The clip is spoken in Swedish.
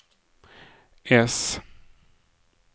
S